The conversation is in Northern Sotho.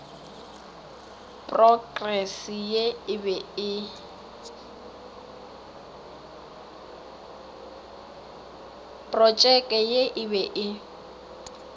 protšeke ye e be e